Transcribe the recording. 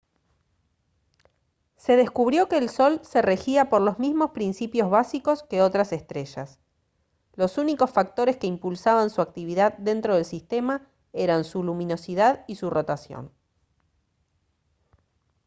se descubrió que el sol se regía por los mismos principios básicos que otras estrellas los únicos factores que impulsaban su actividad dentro del sistema eran su luminosidad y su rotación